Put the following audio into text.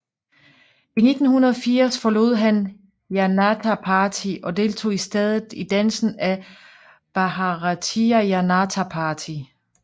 I 1980 forlod han Janata Party og deltog i stedet i dannelsen af Bharatiya Janata Party